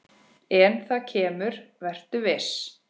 En það kemur, vertu viss.